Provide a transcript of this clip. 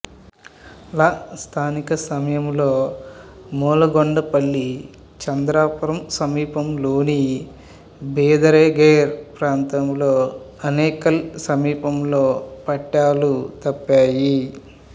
ల స్థానిక సమయంలో మూలగొండపల్లి చంద్రాపురం సమీపంలోని బిదారేగేర్ ప్రాంతంలో అనేకల్ సమీపంలో పట్టాలు తప్పాయి